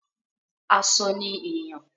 Aṣọ ni èèyàn.